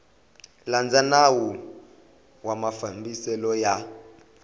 landza nawu wa mafambiselo ya